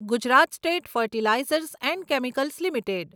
Gujarat state fertilizers and chemicals limited